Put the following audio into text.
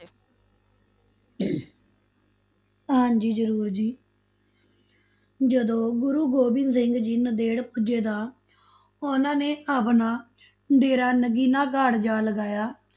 ਹਾਂਜੀ ਜ਼ਰੂਰ ਜੀ ਜਦੋਂ ਗੁਰੂ ਗੋਬਿੰਦ ਸਿੰਘ ਜੀ ਨੰਦੇੜ ਪੁੱਜੇ ਤਾਂ ਉਨ੍ਹਾ ਨੇ ਆਪਣਾ ਡੇਰਾ ਨਗੀਨਾ ਘਾਟ ਜਾ ਲਗਾਇਆ,